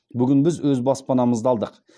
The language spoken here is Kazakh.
бүгін біз өз баспанамызды алдық